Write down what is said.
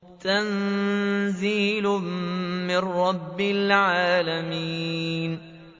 تَنزِيلٌ مِّن رَّبِّ الْعَالَمِينَ